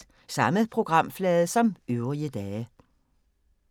Samme programflade som øvrige dage